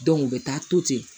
u bɛ taa to ten